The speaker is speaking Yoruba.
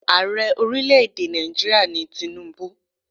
Ààrẹ ọrílẹ̀ èdè Nàìjíríà ni Tinubu.